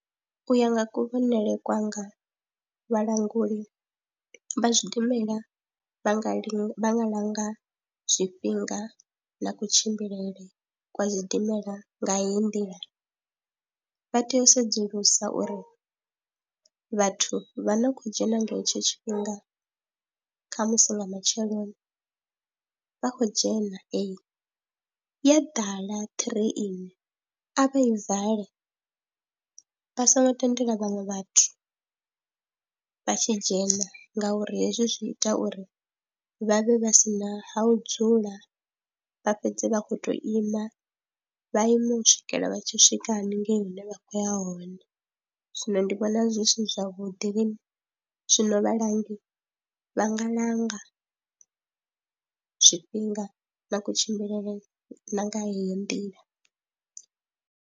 U ya nga kuvhonele kwanga vhalanguli vha zwidimela vha nga linda, vha nga langa zwifhinga na kutshimbilele kwa zwidimela nga heyi nḓila, vha tea u sedzulusa uri vhathu vha no khou dzhena nga hetsho tshifhinga kha musi nga matsheloni vha khou dzhena ee, ya ḓala ṱireni a vha i vale vha songo tendela vhaṅwe vhathu vha tshi dzhena ngauri hezwi zwi ita uri vha vhe vha si na ha u dzula vha fhedze vha khou tou ima, vha ime u swikela vha tshi swika haningei hune vha khou ya hone, zwino ndi vhona zwi si zwavhuḓi, zwino vhalangi vha nga langa zwifhinga na kutshimbilele na nga heyo nḓila.